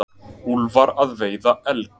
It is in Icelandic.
Úlfar að veiða elg.